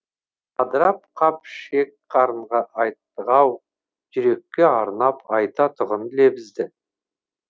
абдырап қап ішек қарынға айттық ау жүрекке арнап айтатұғын лебізді